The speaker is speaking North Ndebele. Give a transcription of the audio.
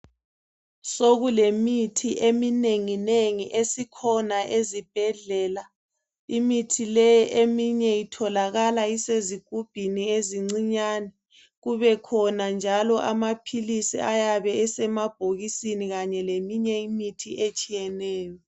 Sokulemithi eminengi nengi esikhona ezibhedlela, imithi leyi itholakala ezigubhini ezincanyane kubekhona njalo amaphilisi ayabe esema bhokisini Kanye leminye imithi etshiyeneyo